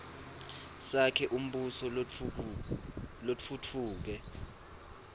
sakhe umbuso lotfutfuke